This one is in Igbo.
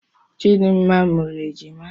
Chidimma mụrụ ejima.